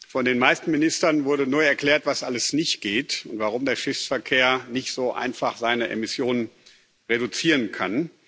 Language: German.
Von den meisten Ministern wurde nur erklärt, was alles nicht geht und warum der Schiffsverkehr nicht so einfach seine Emissionen reduzieren kann.